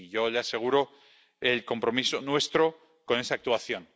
Y yo le aseguro el compromiso nuestro con esa actuación.